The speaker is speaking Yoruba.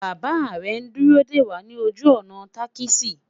bàbá rè n dúró dé wà nì ojú ònà takisi